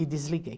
E desliguei.